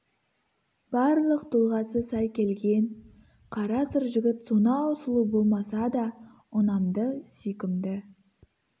барлық тұлғасы сай келген қара сұр жігіт сонау сұлу болмаса да ұнамды сүйкімді